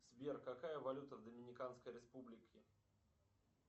сбер какая валюта в доминиканской республике